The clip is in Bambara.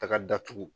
Taga datugu